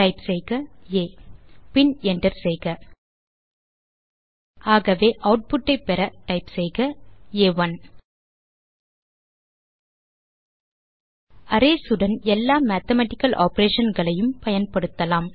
type செய்க ஆ பின் என்டர் செய்க ஆகவே ஆட்புட் ஐ பெற டைப் செய்க ஆ1 அரேஸ் உடன் எல்லா மேத்தமேட்டிக்கல் ஆப்பரேஷன் களையும் பயன்படுத்தலாம்